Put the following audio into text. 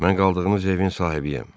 Mən qaldığınız evin sahibiyəm.